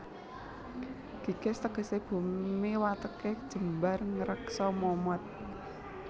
Gigis tegesé bumi watêké jembar ngreksa momot